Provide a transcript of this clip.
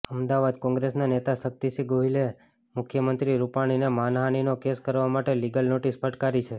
અમદાવાદઃ કોંગ્રેસના નેતા શક્તિસિંહ ગોહિલે મુખ્યમંત્રી રૂપાણીને માનહાનિનો કેસ કરવા માટે લીગલ નોટિસ ફટકારી છે